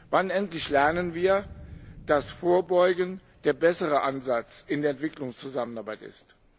Wann endlich lernen wir, dass Vorbeugen der bessere Ansatz in der Entwicklungszusammenarbeit ist?